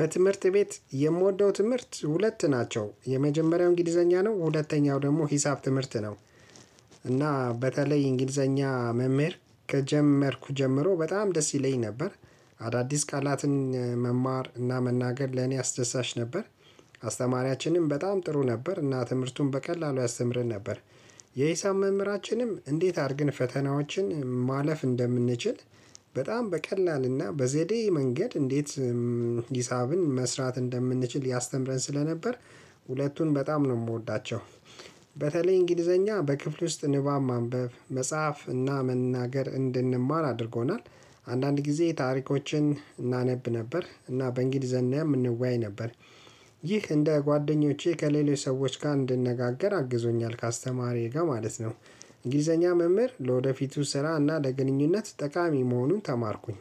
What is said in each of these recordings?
በትምህርት ቤት የምወደው ትምህርት ሁለት ናቸው የመጀመሪያው እንግሊዘኛ ነው ሁለተኛው ደግሞ ሂሳብ ትምህርት ነው። እና በተለይ እንግሊዘኛ መምህር ከጀመርኩ ጀምሮ በጣም ደስ ይለኝ ነበር። አዳዲስ ቃላትን መማር እና መናገር ለኔ አስደሳች ነበር። አስተማሪያችንም በጣም ጥሩ ነበር እና ትምህርቱን በቀላሉ ያስተምርን ነበር። የሂሳብ መምህራችንም እንዴት አድርግን ፈተናዎችን ማለፍ እንደምንችል በጣም በቀላልና በዘዴ መንገድ እንዴት ሂሳብን መስራት እንደምንችል ያስተምረን ስለነበር ሁለቱን በጣም ነው የምወዳቸው። በተለይ እንግሊዘኛ በክፍሌ ውስጥ ንባብ ማንበብ መጻፍ እና መናገር እንድንማር አድርጎናል። አንዳንድ ጊዜ ታሪኮችን እናነብ ነበር እና በእንግሊዘኛም እንወያይ ነበር። ይህ እንደ ጓደኞቼ ከሌሎች ሰዎች ጋር እንድነጋገር አግዞኛል ከአስተማሪዬ ጋር ማለት ነው። እንግሊዘኛ መምህር ለወደፊቱ ስራ እና ለግንኙነት ጠቃሚ መሆኑን ተማርኩኝ።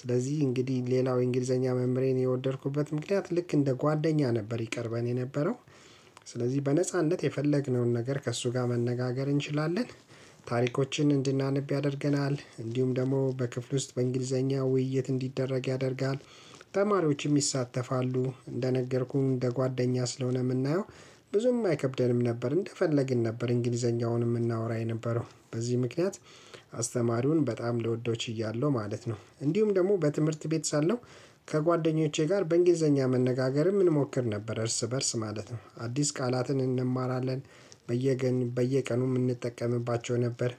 ስለዚህ እንግዲህ ሌላው የእንግሊዘኛ መምህሬን የወደድኩት ምክንያት ልክ እንደ ጓደኛ ነበር ይቀርበን የነበረው። ስለዚህ በነጻነት የፈለግነውን ነገር ከእሱ ጋር መነጋገር እንችላለን። ታሪኮችን እንድናነብ ያደርገናል እንዲሁም ደግሞ በክፍሉ ውስጥ በእንግሊዘኛ ውይይት እንዲደረግ ያደርጋል። ተማሪዎችም ይሳተፋሉ እንደነገርኩም እንደ ጓደኛ ስለሆነ የምናየው ብዙም አይከብደንም ነበር እንደፈለግን ነበር እንግሊዘኛውንም የምናወራ የነበረው በዚህ ምክንያት። አስተማሪውን በጣም ልወደው ችያለሁ ማለት ነው። እንዲሁም ደግሞ በትምህርት ቤት ሳለው ከጓደኞቼ ጋር በእንግሊዘኛ መነጋገርም እንሞክር ነበር እርስ በእርስ ማለት ነው አዲስ ቃላትን እንማራለን። በየ ገን በየ ቀኑ እንጠቀምባቸው ነበር።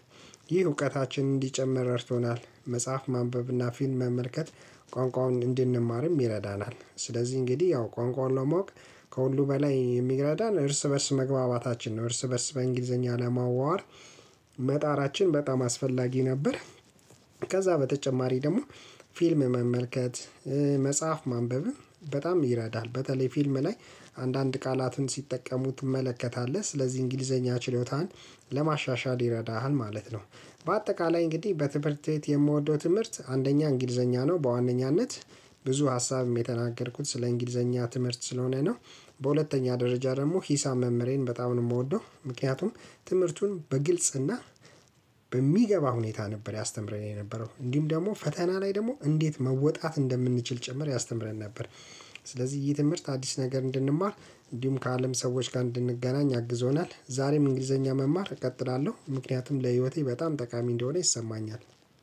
ይህ እውቀታችን እንዲጨመር ረድቶናል። መጽሐፍ ማንበብና ፊልም መመልከት ቋንቋውን እንድንማርም ይረዳናል። ስለዚህ እንግዲህ ያው ቋንቋውን ለማወቅ ከሁሉ በላይ የሚረዳን እርስ በእርስ መግባባታችን ነው። እርስ በእርስ በእንግሊዘኛ ለማዋራት መጣራችን በጣም አስፈላጊ ነበር። ከዛ በተጨማሪ ደግሞ ፊልም መመልከት። መጽሐፍ ማንበብም በጣም ይረዳል በተለይ ፊልም ላይ አንዳንድ ቃላትን ሲጠቀሙ ትመለከታለህ ስለዚህ እንግሊዘኛ ችሎታን ለማሻሻል ይረዳሃል ማለት ነው። በአጠቃላይ እንግዲህ በትምህርት ቤት የምወደው ትምህርት አንደኛ እንግሊዘኛ ነው በዋነኛነት ብዙ ሀሳብም የተናገርኩት ስለ እንግሊዘኛ ትምህርት ስለሆነ ነው። በሁለተኛ ደረጃ ደግሞ ሂሳብ መምህሬን በጣም ነው የምወደው ምክንያቱም ትምህርቱን በግልጽ እና በሚገባ ሁኔታ ነበር ያስተምረን የነበረው እንዲህም ደግሞ ፈተና ላይ ደግሞ እንዴት መወጣት እንደምንችል ጭምር ያስተምረን ነበር። ስለዚህ ይህ ትምህርት አዲስ ነገር እንድንማር እንዲሁም ከአለም ሰዎች ጋር እንድንገናኝ አግዞናል። ዛሬም እንግሊዘኛ መማር እቀጥላለሁ ምክንያቱም ለህይወቴ በጣም ጠቃሚ እንደሆነ ይሰማኛል።